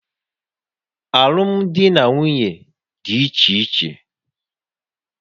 Alụmdi na nwunye dị iche iche